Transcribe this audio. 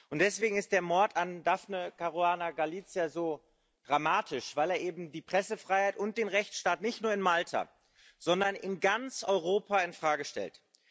Und deswegen ist der Mord an Daphne Caruana Galizia so dramatisch, weil er eben die Pressefreiheit und den Rechtsstaat, nicht nur in Malta, sondern in ganz Europa infrage stellt.